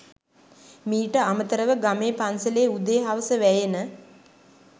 මීට අමතරව ගමේ පන්සලේ උදේ හවස වැයෙන